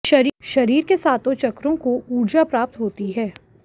शरीर के सातों चक्रों को ऊर्जा प्राप्त होती है